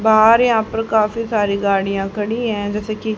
बाहर यहां पर काफी सारी गाड़ियां खड़ी है जैसे की--